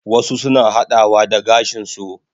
Wasu suna hadawa da gashin su